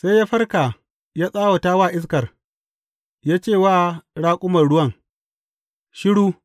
Sai ya farka ya tsawata wa iskar, ya ce wa raƙuman ruwan, Shiru!